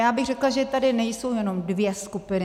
Já bych řekla, že tady nejsou jenom dvě skupiny.